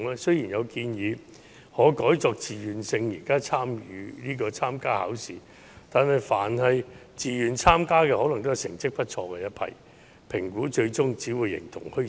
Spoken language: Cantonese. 雖然有建議認為可改以自願性質參加考試，但自願參加的可能都是成績不錯的一批學生，於是評估最終便只會形同虛設。